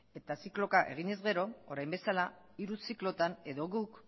eta zikloka egin ezkero orain bezala hiru ziklotan edo guk